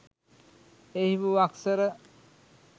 එහි වූ අක්ෂර